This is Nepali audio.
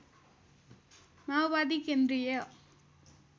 माओवादी केन्द्रीय